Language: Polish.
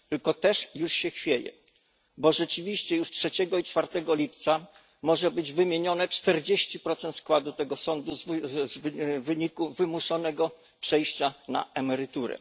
Tylko też już się chwieje, bo rzeczywiście już 3 i 4 lipca może być wymienione 40 składu tego sądu w wyniku wymuszonego przejścia na emeryturę.